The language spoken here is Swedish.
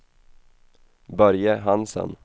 Börje Hansen